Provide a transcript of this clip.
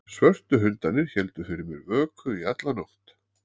Svörtu hundarnir héldu fyrir mér vöku í alla nótt.